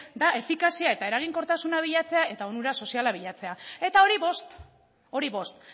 da efikazia eta eraginkortasuna bilatzea eta onura soziala bilatzea eta hori bost hori bost